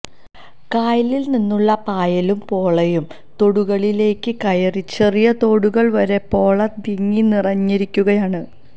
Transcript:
കായലില്നിന്നുള്ള പായലും പോളയും തോടുകളിലേക്ക് കയറി ചെറിയ തോടുകള് വരെ പോള തിങ്ങി നിറഞ്ഞിരിക്കുകയാണ്